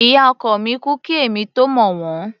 Ìyá ọkọ mi kú kí èmi tó mọ̀ wọ́n.